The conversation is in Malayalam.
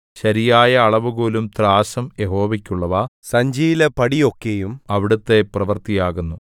ശരിയായ അളവുകോലും ത്രാസും യഹോവയ്ക്കുള്ളവ സഞ്ചിയിലെ പടി ഒക്കെയും അവിടുത്തെ പ്രവൃത്തിയാകുന്നു